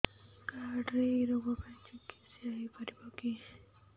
card ରେ ଏଇ ରୋଗ ପାଇଁ ଚିକିତ୍ସା ହେଇପାରିବ କି